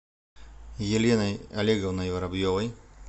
еленой олеговной воробьевой